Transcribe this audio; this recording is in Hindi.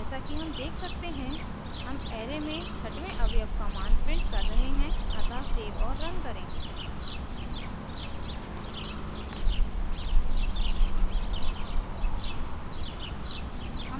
जैसा कि हम देख सकते हैं हम array में छठवें अवयव का मान प्रिंट कर रहे हैं अतः सेव और रन करें